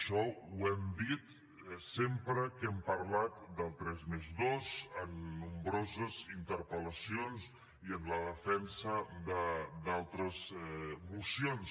això ho hem dit sempre que hem parlat del tres+dos en nombroses interpel·lacions i en la defensa d’altres mocions